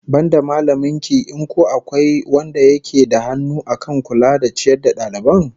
Banda mallamin ki in ko akwai wanda yake da hannu akan kula da ciyar da dalibai?